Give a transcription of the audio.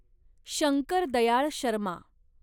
Shankar Dayal Sharma